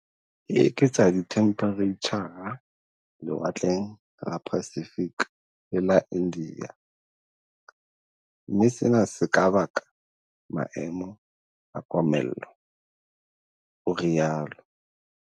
"E eketsa dithemphereitjha lewatleng la Pacific le Ia India, mme sena se ka baka maemo a komello," o rialo.